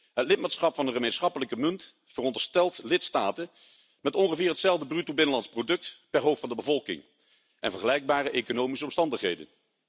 Het lidmaatschap van de gemeenschappelijke munt veronderstelt lidstaten met ongeveer hetzelfde bruto binnenlands product per hoofd van de bevolking en vergelijkbare economische omstandigheden.